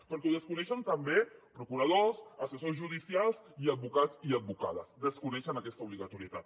perquè ho desconeixen també procuradors assessors judicials i advocats i advocades desconeixen aquesta obligatorietat